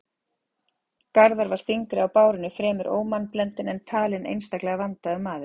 Garðar var þyngri á bárunni, fremur ómannblendinn, en talinn einstaklega vandaður maður.